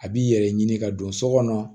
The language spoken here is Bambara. A b'i yɛrɛ ɲini ka don so kɔnɔ